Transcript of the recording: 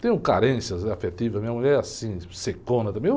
Tenho carências afetivas, minha mulher é assim, secona também.